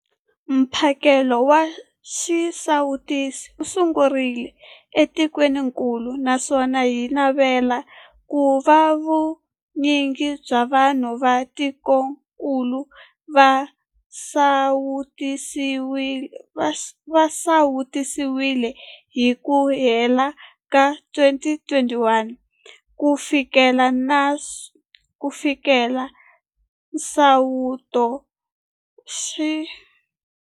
Mphakelo wa xisawutisi wu sungurile etikwenikulu naswona hi navela ku va vu nyingi bya vanhu va tikokulu va sawutisiwile hi ku hela ka 2021 ku fikelela nsawuto wa xintshungu.